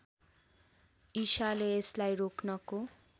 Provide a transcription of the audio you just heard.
ईसाले यसलाई रोक्नको